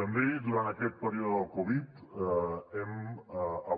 també durant aquest període del covid hem